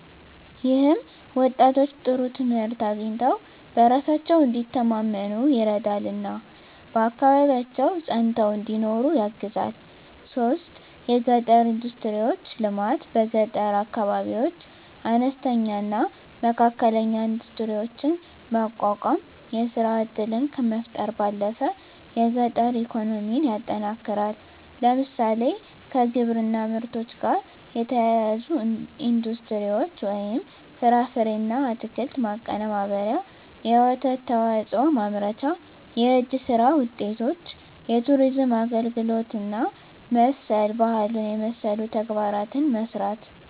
ይህም ወጣቶች ጥሩ ትምህርት አግኝተው በራሳቸው እንዲተማመኑ ይረዳልና በአካባቢያቸው ፀንተው እንዲኖሩ ያግዛል 3. የገጠር ኢንዱስትሪዎች ልማት በገጠር አካባቢዎች አነስተኛና መካከለኛ ኢንዱስትሪዎችን ማቋቋም የሥራ ዕድልን ከመፍጠር ባለፈ የገጠር ኢኮኖሚን ያጠናክራል። ለምሳሌ፣ ከግብርና ምርቶች ጋር የተያያዙ ኢንዱስትሪዎች (ፍራፍሬና አትክልት ማቀነባበሪያ፣ የወተት ተዋጽኦ ማምረቻ)፣ የእጅ ሥራ ውጤቶች፣ የቱሪዝም አገልግሎት እና መሠል ባህሉን የመሠሉ ተግባራትን መሥራት